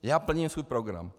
Já plním svůj program.